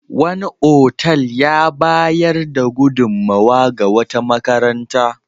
Wani otal ya bayar da gudunmowa ga wata makaranta.